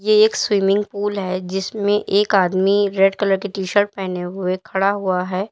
ये एक swimming pool है जिसमें एक आदमी रेड कलर का टीशर्ट पहने हुए खड़ा हुआ है।